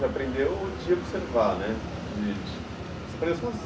Você aprendeu de observar nè?!